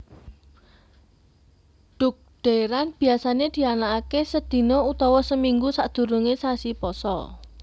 Dhugdhèran biyasané dianakaké sedina utawa seminggu sadurungé sasi pasa